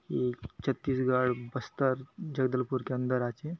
ये छत्तीसगढ़ बस्तर जगदलपुर के अंदर आचे।